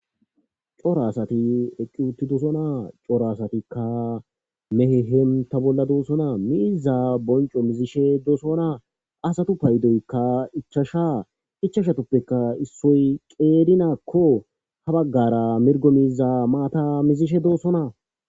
cora asati eqqi uttidosona cora asatikka mehe henta bolla doossona miiza bonco mizishe doosona asatu paydoykka ichasha ichashatoppeka issoy qeedinakko ha baggara mirgomiza maata mizishe doossona